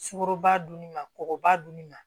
Sukoro ba dunni ma kɔgɔba dun ni ma